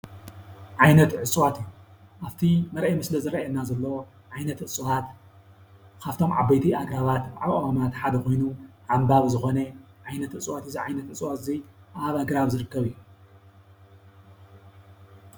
ዓይነት እፅዋት ኣብቲ ምርአይ ምስሊ ዝረኣየና ዘሎ ዓይነት እፅዋት ካብቶም ዓበይቲ ኣግራባት አእዋማት ሓደ ኮይኑ ዓንባቢ ዝኮነ ዓይነት እፅዋት እዩ። እዚ ዓይነት እፅዋት እዙይ ኣብ ኣግራብ ዝርከብ እዩ።